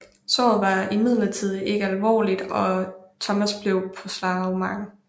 Såret var imidlertid ikke alvorligt og Thomas blev på slagmarken